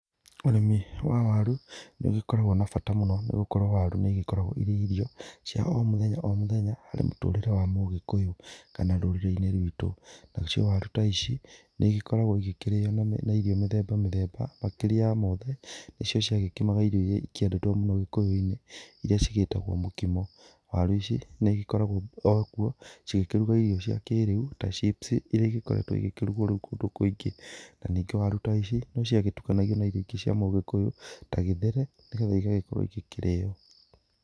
Ũrĩmi wa waru nĩ ũgĩkoragwa na bata mũno nĩ gũkorwo waru nĩ ĩgĩkoragwo irio cia o mũthenya o mũthenya harĩ mũtũrĩre wa mũgĩkũyũ kana rũrĩrĩ-inĩ rwitũ. Nacio waru ta ici nĩ igĩkoragwo igĩkĩrĩo na irio mĩthemba mĩthemba, makĩria ya mothe nĩ cio ciagĩkimaga irio iria ciendetwo mũno gĩkũyũ-inĩ iria cigĩtagwo mũkimo. Waru ici nĩ igĩkoragwo cigĩkĩruga irio cia kĩrĩu ta chips iria igĩkuretwo igĩkĩrugwo rĩu kũndũ kũingĩ. Na ningĩ waru ta ici no ciagĩtukanagio na irio ingĩ cia mũgĩkũyũ ta gĩtheri nĩ getha igagĩkorwo igĩkĩrĩo.